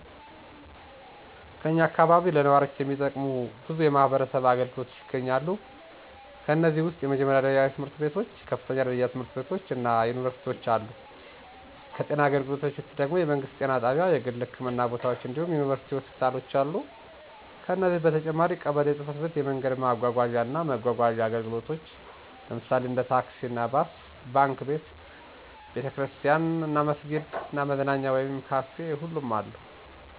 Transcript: ከኛ አካባቢ ለነዋሪዎች የሚጠቅሙ በዙ የማህበረሰብ አገልግሎቶች ይገኛሉ። ከነዚህም ውስጥ የመጀመሪያ ደረጃ ትምህርት ቤቶች፣ ከፍተኛ ደረጃ ትምህርት ቤቶች እና ዩኒቨርሲቲዎች አሉ። ከጤና አገልግሎቶች ውስጥ ደግም የመንግስት ጤና ጣቢያ፣ የግል ህክምና ቦታዎች እንዲሁም ዩኒቨርሲቲ ሆስፒታል አለ። ከነዚህ በተጨማሪም ቀበሌ ጽ/ቤት፣ የመንገድ ማጓጓዣ እና መጓጓዣ አገልግሎቶች (ታክሲ፣ ባስ)፣ባንክ፣ ቤተ ክርስቲያን እና መስጊድ እና መዝናኛ ወይም ካፊ ሁሉም አሉ።